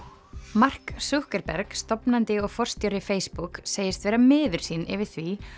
mark stofnandi og forstjóri Facebook segist vera miður sín yfir því